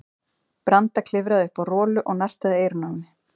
Branda klifraði upp á Rolu og nartaði í eyrun á henni.